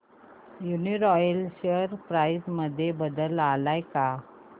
Uniroyal share price मध्ये बदल आलाय का